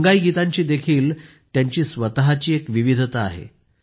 अंगाईगीतांची त्यांची स्वतःची विविधता आहे